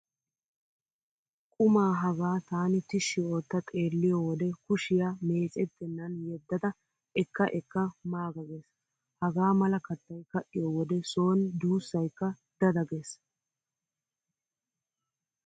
Qumaa hagaa taani tishshi ootta xeelliyo wode kushiya meecettennan yeddada ekka ekka maaga gees. Hagaa mala kattay ka'iyo wode sooni duussaykka dada gees.